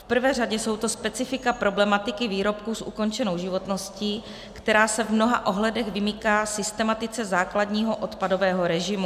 V prvé řadě jsou to specifika problematiky výrobků s ukončenou životností, která se v mnoha ohledech vymyká systematice základního odpadového režimu.